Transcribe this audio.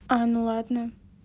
а ну ладно